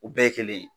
U bɛɛ ye kelen ye